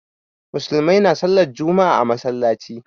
Musulmai na sallar juma'a a masallaci